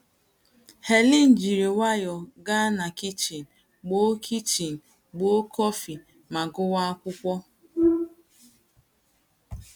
Helen jìrú nwayọọ̀ gaa na kichin, gboo kichin, gboo kọfị, ma gụwa akwụkwọ.